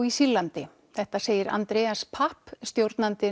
í Sýrlandi þetta segir Andreas papp stjórnandi